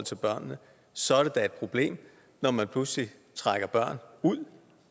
børnene så er det da et problem når man pludselig trækker børn ud